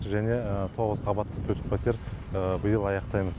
және тоғыз қабатты төрт жүз пәтер биыл аяқтаймыз